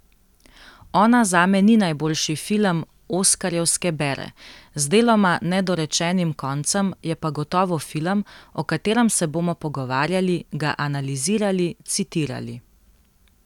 Ona zame ni najboljši film oskarjevske bere, z deloma nedorečenim koncem, je pa gotovo film, o katerem se bomo pogovarjali, ga analizirali, citirali.